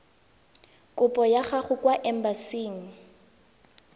kopo ya gago kwa embasing